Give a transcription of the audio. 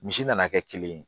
Misi nana kɛ kelen ye